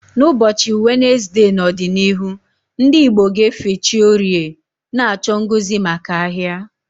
N'ụbọchị Wenezde n'ọdịnihu, ndị Igbo ga-efe chi Orie, na-achọ ngozi maka ahia.